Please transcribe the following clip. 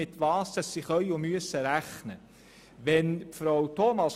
dieses weiss nun, womit es rechnen kann und muss.